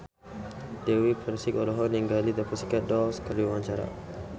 Dewi Persik olohok ningali The Pussycat Dolls keur diwawancara